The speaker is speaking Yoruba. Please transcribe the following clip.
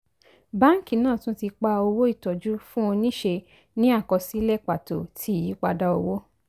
báńkì náà tún ti pa owó ìtọ́jú fún oníṣe ní àkọsílẹ̀ pàtó ti iyípadà owó